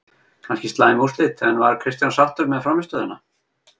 Kannski slæm úrslit, en var Kristján sáttur með frammistöðuna?